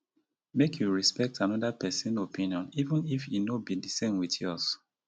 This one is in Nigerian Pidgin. make you respect anoda pesin opinion even if e no be di same wit yours.